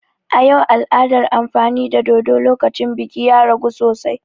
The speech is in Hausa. A yau, al'adar amfani da dodo lokacin biki ya ragu sosai.